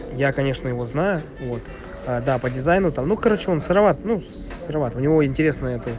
я конечно его знаю вот да по дизайну та ну короче он сыроват сыроват у него интересно